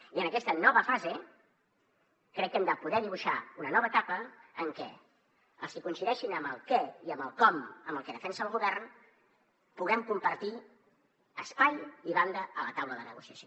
i en aquesta nova fase crec que hem de poder dibuixar una nova etapa en què els qui coincideixin en el què i en el com amb el que defensa el govern puguem compartir espai i banda a la taula de negociació